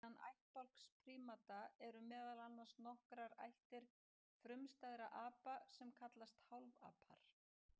Innan ættbálks prímata eru meðal annars nokkrar ættir frumstæðra apa sem kallast hálfapar.